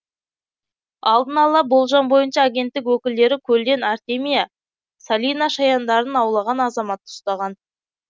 алдын ала болжам бойынша агенттік өкілдері көлден артемия салина шаяндарын аулаған азаматты ұстаған